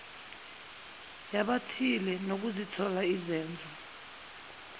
yabathile nokuzithola izenzo